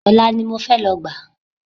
Ọ̀la ni mo fẹ́ lọ gbà á